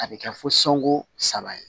A bɛ kɛ fo songon saba ye